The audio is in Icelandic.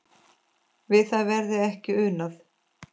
Við það verði ekki unað.